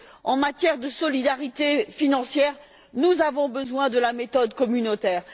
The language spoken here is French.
En matière de solidarité financière, nous avons besoin de la méthode communautaire.